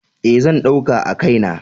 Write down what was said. E, zan ɗauka a kai na.